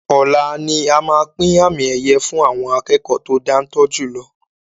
Ọlá ni a máa pín àmì ẹ̀yẹ fun àwọn akẹ́kọ̀ to dantọ́ jùlọ